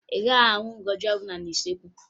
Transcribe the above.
Ị gaghị ahụ ngaji ọbụla n'usuekwu